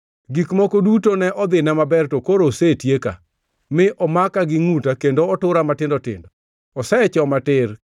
Gik moko duto ne dhina maber, to koro osetieka; mi omaka gi ngʼuta kendo otura matindo tindo. Osechoma tir;